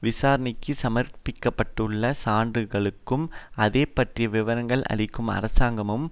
விசாரணைக்கு சமர்பிக்கப்பட்டுள்ள சான்றுகளுக்கும் அதை பற்றிய விவரங்களை அளிக்கும் அரசாங்கமும்